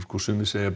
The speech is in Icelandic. sumir segja